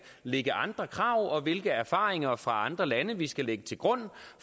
ligge andre krav og hvilke erfaringer fra andre lande vi skal lægge til grund